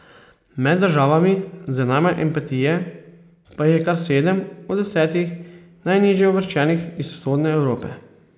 Med državami z najmanj empatije pa jih je kar sedem od desetih najnižje uvrščenih iz Vzhodne Evrope.